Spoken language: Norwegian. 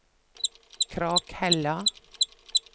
Krakhella